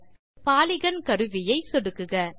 அடுத்து பாலிகன் கருவியை சொடுக்குக